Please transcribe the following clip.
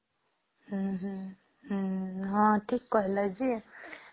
ହମ୍ମ ହମ୍ମ ହମ୍ମ ହଁ ଠିକ କହିଲ ଯେ